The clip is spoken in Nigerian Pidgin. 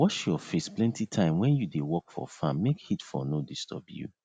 wash your face plenty time wen you dey work for farm make heat for no disturb you